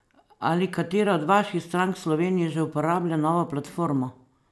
Ali katera od vaših strank v Sloveniji že uporablja novo platformo?